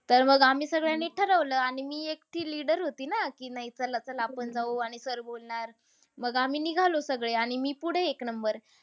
तर मग आम्ही सगळ्यांनी ठरवलं आणि मी एकटी leader होती ना. की नाही चला-चला आपण जाऊ. आणि sir बोलणार. मग आम्ही निघालो सगळे. आणि मी पुढे एक number.